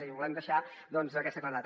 i ho volem deixar doncs amb aquesta claredat